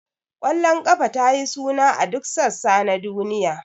Ƙwallon kafa ta yi suna a duk sassa na duniya.